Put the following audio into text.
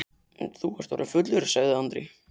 Þú ert orðinn fullur, sagði Andri.